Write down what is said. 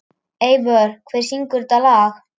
Eivör, hver syngur þetta lag?